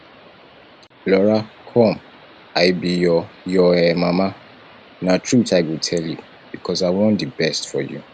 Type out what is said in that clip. lora come i be your your um mama na truth i go tell you because i wan the best for you